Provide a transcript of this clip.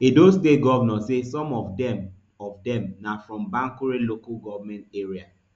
edo state govnor say some of dem of dem na from bankure local goment area